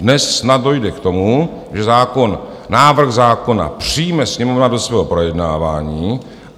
Dnes snad dojde k tomu, že zákon - návrh zákona - přijme Sněmovna do svého projednávání.